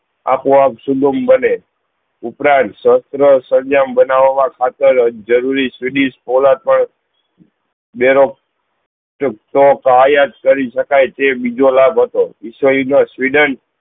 આપવા સુજ્ઞ બને સહસ્ત્ર સર્જ્મ બનાવા મા ખાતર જરૂરી પણ બેરો તો ક્યાય કરી સકાય છે તે બીજો લાભ હતો વિસ્વ યુદ્ધ મા સ્વેડેન